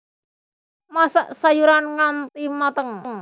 Masak sayuran nganti mateng